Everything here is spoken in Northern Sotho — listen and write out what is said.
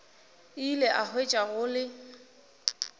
ile a hwetša go le